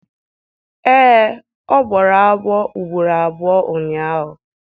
Ee, ọ gbara ọsọ ugboro abụọ ụnyahụ